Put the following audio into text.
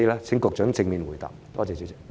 請局長正面回答。